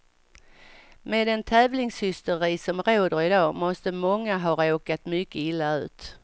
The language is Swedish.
Med den tävlingshysteri som råder idag måste många ha råkat mycket illa ut.